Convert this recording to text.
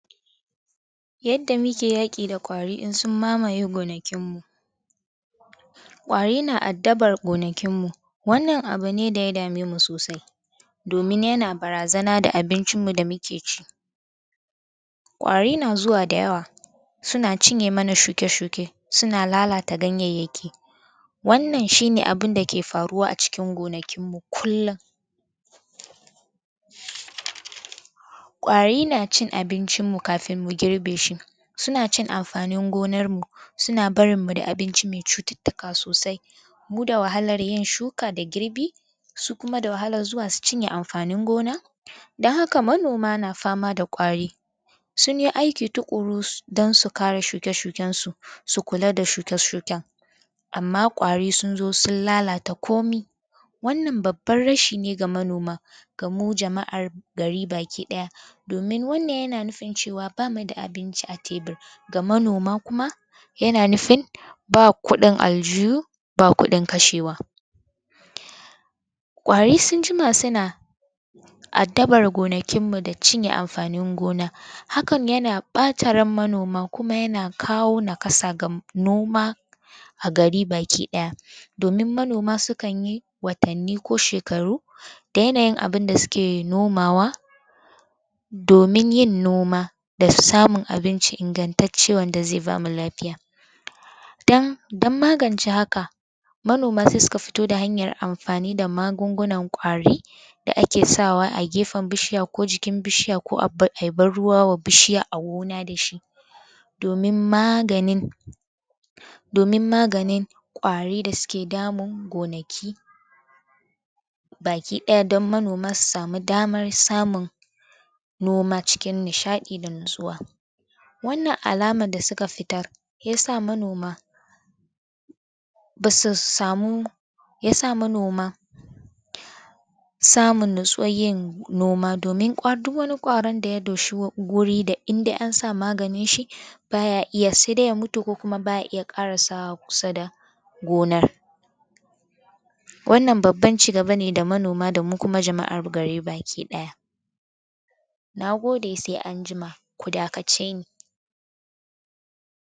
Yadda muke yaki da kwari in sun mamaye gonakinmu. Kwari na addabar gonakinmu wannan abu ne da ya damemu sosai domin yana barazana da abuncinmu da muke ci. Kwari na zuwa da yawa suna cinye mana shuke-shuke suna lalata ganyenyaki wannan shine abun dake faruwa acikin gonakinmu kullum. Kwari na cin abincin mu kafin mu girbe shi suna cin amfanin gonarmu suna barinmu da abinci me cututtuka sosai mu da wahalar yin shuka da girbi, su kuma da wahalar zuwa su cinye amfanin gona. Don haka manoma na fama da kwari sunyi aiki tukuru don su kare shuke-shukensu su kulla da shuke-shuken amma kwari sun zo sun lalata komai. Wannan babban rashi ne ga manoma ga mu jama'ar gari baki daya domin wannan yana nufin cewa bamu da abinci a tebir ga manoma kuma, yana nufin ba kudin aljihu, ba kudin kashe wa Kwari sun jima suna addabar gonakin mu da cinye amfanin gona. Hakan yana bata ran manoma kuma yana kawo nakasa ga noma a gari baki daya. domin manoma sukanyi watanni ko shekaru da yanayin abun da suke nomawa domin yin noma da samun abinci ingantacce wanda zai bamu lafiya dan magance haka, manoma sai suka fito da hanyar amfani da magungunan kwari da ake sawa a gefen bishiya ko jikin bishiya ko ayi ban ruwa ma bishiya a gona dashi domin maganin domin maganin kwari da suke damun gonaki baki daya don manoma su samun daman samun noma cikin nishadi da natsuwa. wannan alama da suka fitar ya sa manoma ba su samu ya sa manoma samun natsuwan yin noma domin duk wani kwaron da ya doshi guri indai an sa maganinshi baya iya saidai ya mutu kokuma baya iya karasawa kusa da gonar wannan babban cigaba ne da manoma da mu kuma jama'an gari baki daya Na gode sai anjima, ku da kace ni.